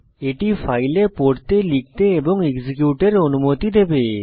এটি ফাইলে পড়তেলিখতে এবং এক্সিকিউটের অনুমতি দেবে